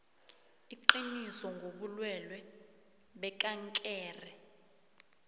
iqiniso ngobulwelwe bekankere